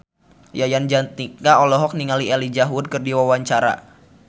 Yayan Jatnika olohok ningali Elijah Wood keur diwawancara